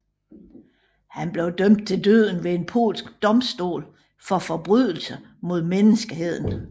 Han blev dømt til døden ved en polsk domstol for forbrydelser mod menneskeheden